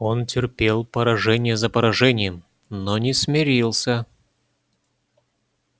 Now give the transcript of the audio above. он терпел поражение за поражением но не смирился